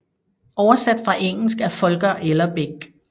Oversat fra engelsk af Volker Ellerbeck